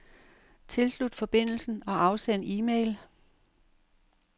Tilslut forbindelsen og afsend e-mail.